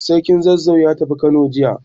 Sarkin Zazzau ya tafi Kano jiya.